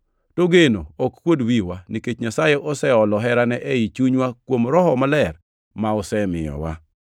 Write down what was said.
To geno ok kuod wiwa, nikech Nyasaye oseolo herane ei chunywa kuom Roho Maler, ma osemiyowa.